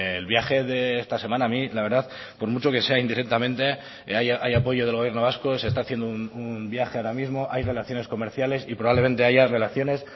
el viaje de esta semana a mí la verdad por mucho que sea indirectamente hay apoyo del gobierno vasco se está haciendo un viaje ahora mismo hay relaciones comerciales y probablemente haya relaciones